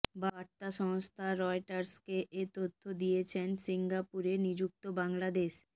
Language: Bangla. বার্তা সংস্থা রয়টার্সকে এ তথ্য দিয়েছে সিঙ্গাপুরে নিযুক্ত বাংলাদেশ